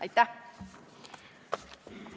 Aitäh!